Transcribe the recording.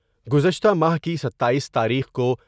گزشتہ ماہ کی ستاییس تاریخ کو